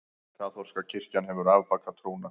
Kaþólska kirkjan hefur afbakað trúna.